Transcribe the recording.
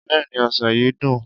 Bẹ́ẹ̀ni, ọsàn yìí dùn.